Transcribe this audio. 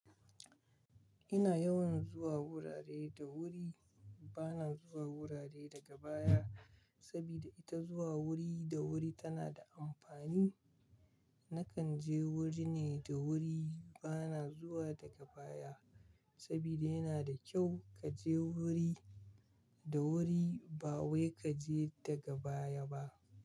Ina yawan zuwa wurare da wuri, bana zuwa wurare daga baya sabida ita zuwa wuri da wuri tana da amfani. Nakan je wuri ne da wuri, bana zuwa daga baya sabida yana da kyau kaje wuri da wuri ba wai kaje daga baya ba.